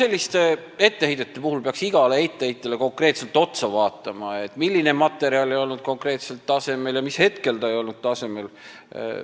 Selliste etteheidete puhul peaks igale etteheitjale otsa vaatama, et teada saada, milline materjal konkreetselt ei olnud tasemel ja mis hetkel see ei olnud tasemel.